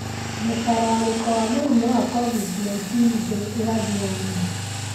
Mũtararĩko wa mũrimũ wa COVID-19, ndũrĩ ũrathi wa ma.